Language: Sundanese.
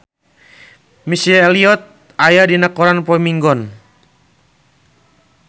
Missy Elliott aya dina koran poe Minggon